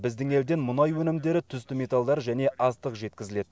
біздің елден мұнай өнімдері түсті металдар және астық жеткізіледі